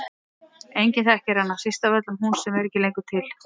Enginn þekkir hana, síst af öllum hún sem er ekki lengur til.